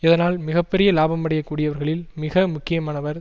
இதனால் மிக பெரிய இலாபமடையக் கூடியவர்களில் மிக முக்கியமானவர்